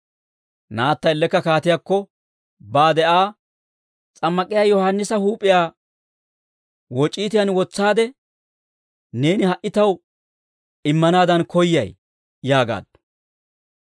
Naatta ellekka kaatiyaakko baade Aa, «S'ammak'iyaa Yohaannisa huup'iyaa woc'iitiyaan wotsaade, neeni ha"i taw immanaadan koyyay» yaagaaddu.